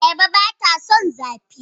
Ayaba ba ta son zafi.